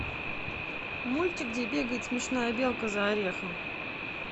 мультик где бегает смешная белка за орехом